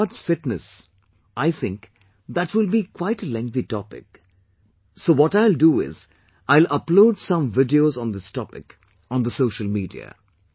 As regards fitness, I think that will be quite a lengthy topic, so what I'll do is, I'll upload some videos on this topic on the social media